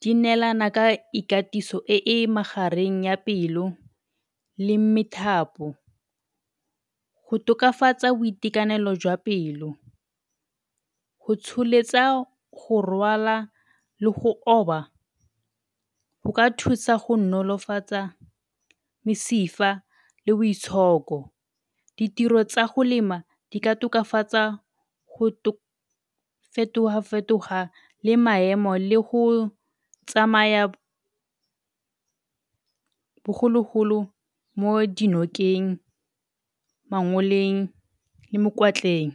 di neelana ka ikatiso e e magareng ya pelo le methapo go tokafatsa boitekanelo jwa pelo. Go tsholetsa go rwala le go oba go ka thusa go nolofatsa mesifa le boitshoko. Ditiro tsa go lema di ka tokafatsa go fetoga-fetoga le maemo le go tsamaya bogologolo mo dinokeng, mangoleng le mokwatleng.